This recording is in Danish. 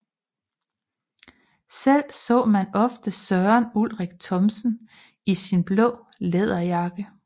Selv så man ofte Søren Ulrik Thomsen i sin blå læderjakke